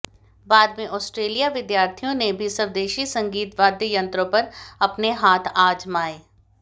बाद में ऑस्ट्रेलियाई विद्यार्थियों ने भी स्वदेशी संगीत वाद्य यंत्रों पर अपने हाथ आजमाये